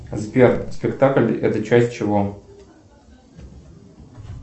сбер спектакль это часть чего